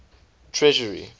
treasury